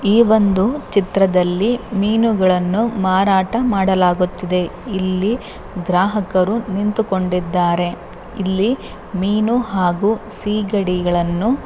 ಈ ಒಂದು ಚಿತ್ರದಲ್ಲಿ ಮೀನುಗಳನ್ನು ಮಾರಾಟ ಮಾಡಲಾಗುತ್ತಿದೆ ಇಲ್ಲಿ ಗ್ರಾಹಕರು ನಿಂತುಕೊಂಡಿದ್ದಾರೆ ಇಲ್ಲಿ ಮೀನು ಹಾಗು ಸಿಗಡಿಗಳನ್ನು --